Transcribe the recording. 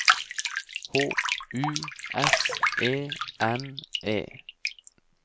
H U S E N E